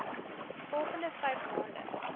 volgende vyf maande